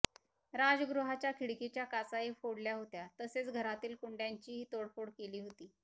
राजगृहाच्या खिडकीच्या काचाही फोडल्या होत्या तसेच घरातील कुंड्यांचीही तोडफोड केली होती